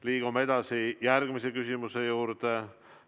Liigume edasi järgmise küsimuse juurde.